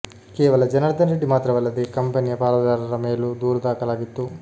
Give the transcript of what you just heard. ಕೇವಲ ಜನಾರ್ದನ್ ರೆಡ್ಡಿ ಮಾತ್ರವಲ್ಲದೇ ಕಂಪನಿಯ ಪಾಲುದಾರರ ಮೇಲೂ ದೂರು ದಾಖಲಾಗಿತ್ತು